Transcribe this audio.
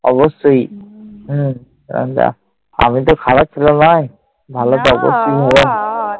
অবশ্যই। হম আমি তো খারাপ ছেলে নয়।